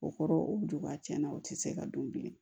O kɔrɔ o duguba tiɲɛna o tɛ se ka don bilen